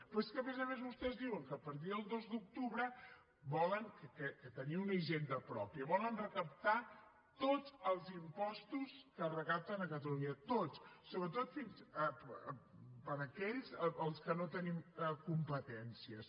però és que a més a més vostès diuen que a partir del dos d’octubre volen tenir una hisenda pròpia volen recaptar tots els impostos que es recapten catalunya tots fins i tot aquells en què no tenim competències